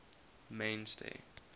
mainstay